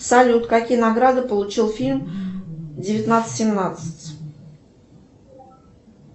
салют какие награды получил фильм девятнадцать семнадцать